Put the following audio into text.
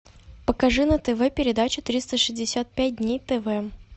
покажи на тв передачу триста шестьдесят пять дней тв